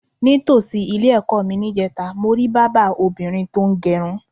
Ní tòsí ilé-è̩kó̩ mi níje̩ta, mo rí bábà obìnrin tó ń g̩e̩run.